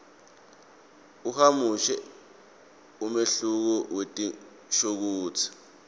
ahumushe umehluko wetinshokutsi